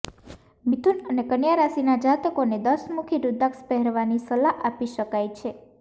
મિથુન અને કન્યા રાશિના જાતકોને દશમુખી રૂદ્રાક્ષ પહેરવાની સલાહ આપી શકાય છે